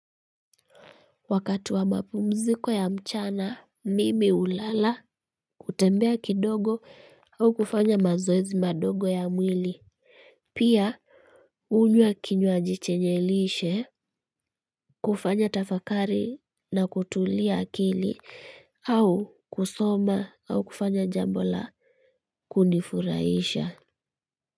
Wakati wa mapumziko ya mchana mimi hulala hutembea kidogo au kufanya mazoezi madogo ya mwili pia hunywa kinywaji chenye lishe kufanya tafakari na kutulia akili au kusoma au kufanya jambo la kunifurahisha.